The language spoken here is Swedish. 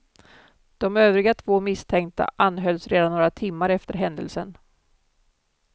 De övriga två misstänkta anhölls redan några timmar efter händelsen.